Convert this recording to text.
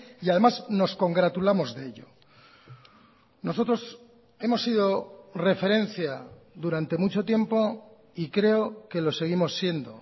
y además nos congratulamos de ello nosotros hemos sido referencia durante mucho tiempo y creo que lo seguimos siendo